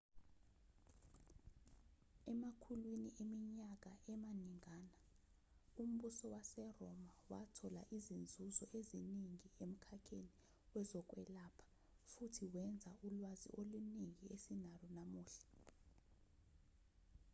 emakhulwini eminyaka amaningana umbuso waseroma wathola izinzuzo eziningi emkhakheni wezokwelapha futhi wenza ulwazi oluningi esinalo namuhla